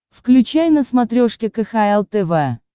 включай на смотрешке кхл тв